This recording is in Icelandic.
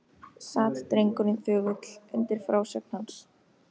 Sat drengurinn þögull undir frásögn hans.